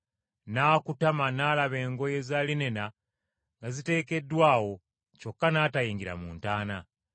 N’akutama n’alaba engoye za linena nga ziteekeddwa awo, kyokka n’atayingira mu ntaana.